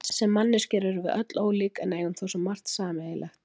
Sem manneskjur erum við öll ólík en eigum þó svo margt sameiginlegt.